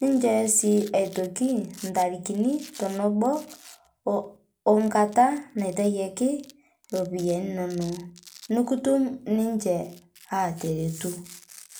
ninshooyo sii aitoki ntarikini otonobo onkata naitayaki ropiyani inonoo nukutum ninshe ateretuu